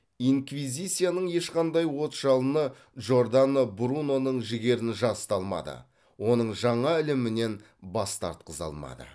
инквизицияның ешқандай от жалыны джордано бруноның жігерін жасыта алмады оның жаңа ілімінен бас тартқыза алмады